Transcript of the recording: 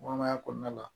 Kɔnɔmaya kɔnɔna la